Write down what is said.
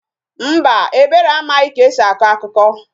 Mba, Ebere amaghị ka e si akọ akụkọ